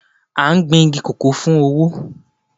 A gbìn igi kòkó fún owó.